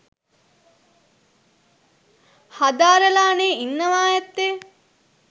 හදාරලානේ ඉන්නවා ඇත්තේ.